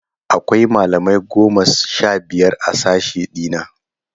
Akwai malamai goma sha biyar a sashe ɗina.